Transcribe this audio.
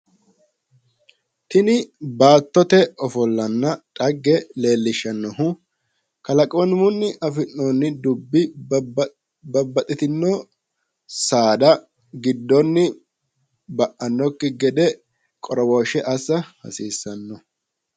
Tini baattote ofollanna dhagge leellishshannohu, kalaqamunni afi'noonni dubbi babbaxxitino saada giddonni ba"annokki gede qoroweeshsha assa hasiissanno.